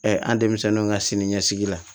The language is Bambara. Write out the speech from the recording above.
an denmisɛnninw ka siniɲɛsigi la